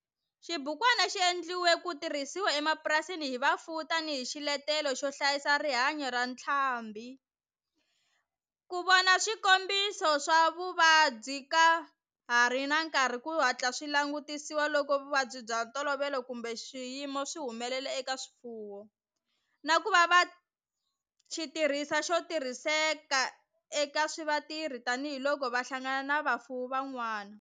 Xibukwana xi endliwe ku tirhisiwa emapurasini hi vafuwi tani hi xiletelo xo hlayisa rihanyo ra ntlhambhi, ku vona swikombiso swa vuvabyi ka ha ri na nkarhi ku hatla swi langutisiwa loko vuvabyi bya ntolovelo kumbe swiyimo swi humelela eka swifuwo, na ku va xitirhisiwa xo tirhiseka eka vatirhi tani hi loko va hlangana na vafuwi van'wana.